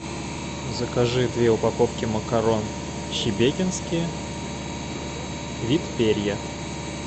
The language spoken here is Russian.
закажи две упаковки макарон шебекинские вид перья